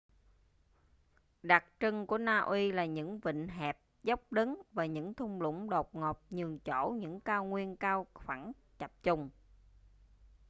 đặc trưng của na uy là những vịnh hẹp dốc đứng và những thung lũng đột ngột nhường chỗ những cao nguyên cao phẳng chập chùng